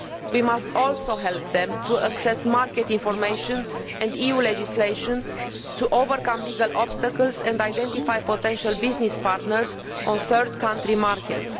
We must also help them to access market information and EU legislation in order to overcome legal obstacles and identify potential business partners in third countries markets.